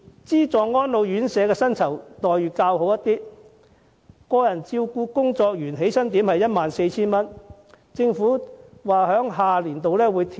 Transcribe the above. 資助安老院舍的薪酬待遇較好，個人照顧工作員的起薪點是 14,000 元，政府表示在下年度更會調整。